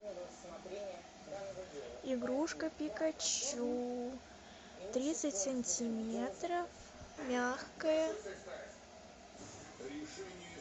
игрушка пикачу тридцать сантиметров мягкая